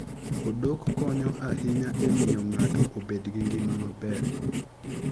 Odok konyo ahinya e miyo ng'ato obed gi ngima maber.